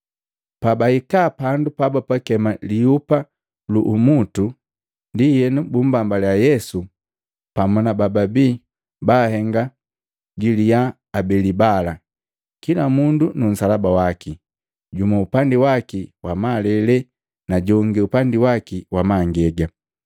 Pabahika pandu pabapakema, “Lihupa lu Umutu” Ndienu bummbambaliya Yesu pamu na bababi baahenga galiya abeli bala kila mundu nu nsalaba waki, jumu upandi waki wamalele na jongi upandi waki wamangega.